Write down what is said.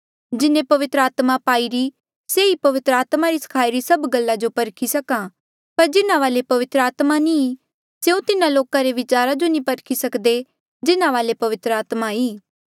जिन्हें पवित्र आत्मा पाईरी से ही पवित्र आत्मा री सखाई री सभ गल्ला जो परखी सक्हा पर जिन्हा वाले पवित्र आत्मा नी स्यों तिन्हा लोका रे विचारा जो नी परखी सकदे जिन्हा वाले पवित्र आत्मा ई